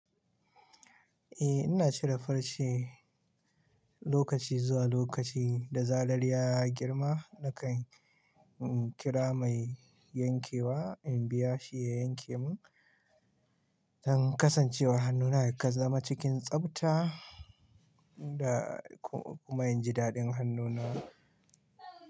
Eh ina cire farce lokaci zuwa lokaci da zarar ya girma nakan in kira mai yankewa in biya shi ya yanke mun don kasancewar hannuna ya zama cikin tsafta da kuma in ji daɗin hannuna.